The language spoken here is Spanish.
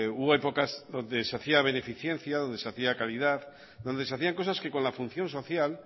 hubo épocas donde se hacía beneficencia donde se hacia caridad donde se hacían cosas que con la función social